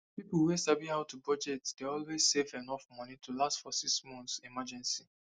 people wey sabi how to budget dey always save enough money to last for six months emergency